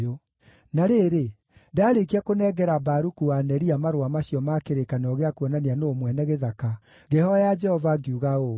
“Na rĩrĩ, ndaarĩkia kũnengera Baruku wa Neria marũa macio ma kĩrĩkanĩro gĩa kuonania nũũ mwene gĩthaka, ngĩhooya Jehova ngiuga ũũ: